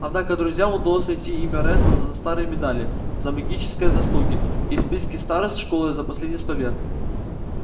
однако друзьям удалось найти имя реддла на старой медали за магические заслуги и в списке старост школы за последние сто лет